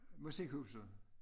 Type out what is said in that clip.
Musikhuset